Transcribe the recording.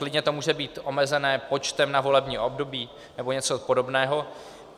Klidně to může být omezené počtem na volební období nebo něco podobného.